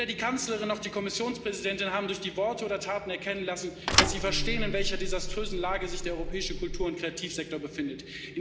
Weder die Kanzlerin noch die Kommissionspräsidentin haben durch Worte oder Taten erkennen lassen, dass sie verstehen, in welcher desaströsen Lage sich der europäische Kultur und Kreativsektor befindet.